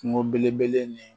Kungo belebele ni